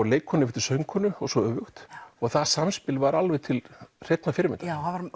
leikkonu yfir til söngkonu og svo öfugt það samspil var alveg til hreinnar fyrirmyndar það